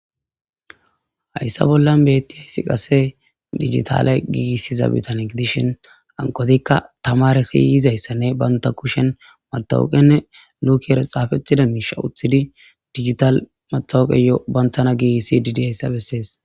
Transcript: Hayssa bollan betti hayssi qase digitale giigisiza bitanegi dishhin ankotikka tamare kiyizayssanne banta kushen matawoqenne lukiere xaafettida miisha uththidi digital matawoqeyoo bantana giisi didayssa bessees.